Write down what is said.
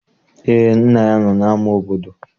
Eé, nna ya nọ n'ama obodo